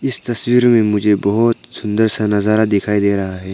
इस तस्वीर में मुझे बहुत सुंदर सा नजारा दिखाई दे रहा है।